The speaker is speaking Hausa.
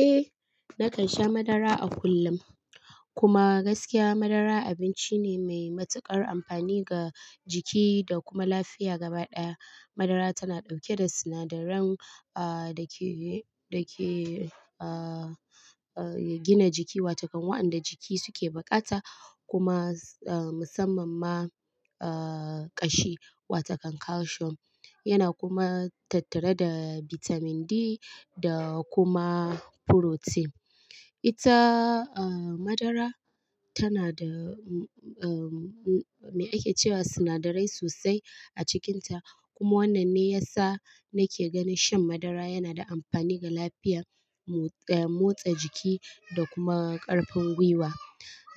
Eh, nakan sha madara a kullum. Kuma gaskiya madara abinci ne mai matuƙar amfani ga jiki da kuma lafiya gabaɗaya. Madara tana ɗauke da sinadaran, ah, dake, dake, ah, ah, gina jiki, wato kan waɗanda jiki suke bukata, kuma, ah, musamman ma, ah, ƙashi, wato kan calcium. Yana kuma tattare da bitamin D da kuma furotin. Ita, ah, madara tana da, mm, ah, mm, me ake cewa sinadarai sosai a cikinta. Kuma wannan ne yasa nake ganin shan madara yana da amfani ga lafiyar mu, ah, motsa jiki da kuma ƙarfin gwiwa.